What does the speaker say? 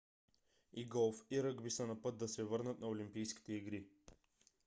и голф и ръгби са на път да се върнат на олимпийските игри